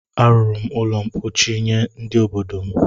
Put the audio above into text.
A rụrụ m ụlọ ḿkpóchí nye ndị obodo m